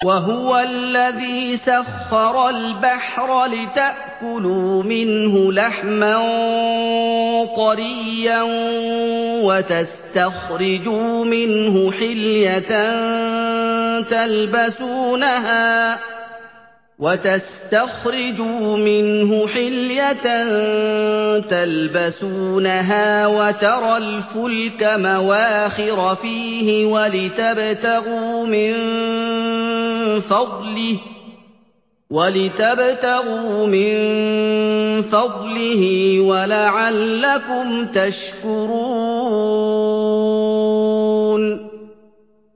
وَهُوَ الَّذِي سَخَّرَ الْبَحْرَ لِتَأْكُلُوا مِنْهُ لَحْمًا طَرِيًّا وَتَسْتَخْرِجُوا مِنْهُ حِلْيَةً تَلْبَسُونَهَا وَتَرَى الْفُلْكَ مَوَاخِرَ فِيهِ وَلِتَبْتَغُوا مِن فَضْلِهِ وَلَعَلَّكُمْ تَشْكُرُونَ